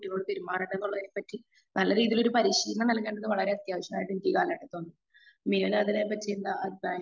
കുട്ടികളോട് പെരുമാറേണ്ടതുള്ളതിനെപ്പറ്റി നല്ല രീതിയില് ഒരു പരിശീലനം നൽകേണ്ടത് വളരെ അത്യാവശ്യമായിനിക്ക്കാണാൻപറ്റും ഒരു അതിനെ പറ്റി എന്താ അഭിപ്രായം?